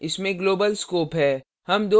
इसमें global scope है